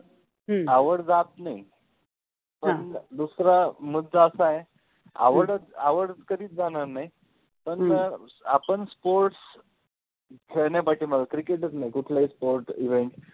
ह्म आवड जात नाहि, दुसरा मुद्दा असा आहे आवड आवड कधिच जाणार नाहि, पण अ‍अ आपण sport खेळल पाहिजे cricket च नाहि कुठलाहि sport event